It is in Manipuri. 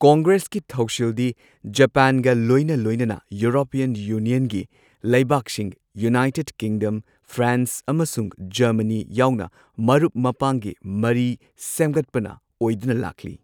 ꯀꯪꯒ꯭ꯔꯦꯁꯀꯤ ꯊꯧꯁꯤꯜꯗꯤ ꯖꯄꯥꯟꯒ ꯂꯣꯏꯅ ꯂꯣꯏꯅꯅ ꯌꯨꯔꯣꯄꯤꯌꯟ ꯌꯨꯅꯤꯌꯟꯒꯤ ꯂꯩꯕꯥꯛꯁꯤꯡ ꯌꯨꯅꯥꯏꯇꯦꯗ ꯀꯤꯡꯗꯝ, ꯐ꯭ꯔꯥꯟꯁ, ꯑꯃꯁꯨꯡ ꯖꯔꯃꯅꯤ ꯌꯥꯎꯅ ꯃꯔꯨꯞ ꯃꯄꯥꯡꯒꯤ ꯃꯔꯤ ꯁꯦꯝꯒꯠꯄꯅ ꯑꯣꯏꯗꯨꯅ ꯂꯥꯛꯂꯤ꯫